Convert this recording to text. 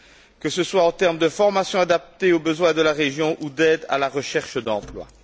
que ce soit en termes de formation adaptée aux besoins de la région ou d'aides à la recherche d'emplois.